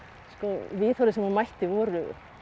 viðhorfin sem hún mætti voru